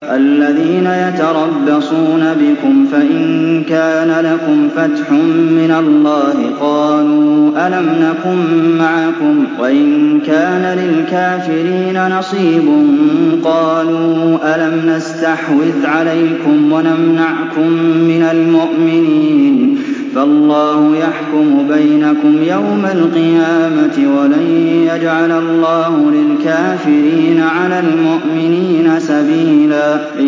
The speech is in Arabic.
الَّذِينَ يَتَرَبَّصُونَ بِكُمْ فَإِن كَانَ لَكُمْ فَتْحٌ مِّنَ اللَّهِ قَالُوا أَلَمْ نَكُن مَّعَكُمْ وَإِن كَانَ لِلْكَافِرِينَ نَصِيبٌ قَالُوا أَلَمْ نَسْتَحْوِذْ عَلَيْكُمْ وَنَمْنَعْكُم مِّنَ الْمُؤْمِنِينَ ۚ فَاللَّهُ يَحْكُمُ بَيْنَكُمْ يَوْمَ الْقِيَامَةِ ۗ وَلَن يَجْعَلَ اللَّهُ لِلْكَافِرِينَ عَلَى الْمُؤْمِنِينَ سَبِيلًا